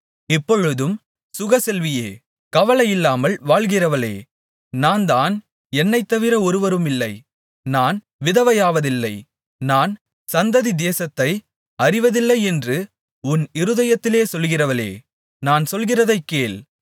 இப்பொழுதும் சுகசெல்வியே கவலையில்லாமல் வாழ்கிறவளே நான்தான் என்னைத்தவிர ஒருவருமில்லை நான் விதவையாவதில்லை நான் சந்ததி சேதத்தை அறிவதில்லையென்று உன் இருதயத்திலே சொல்கிறவளே நான் சொல்கிறதைக் கேள்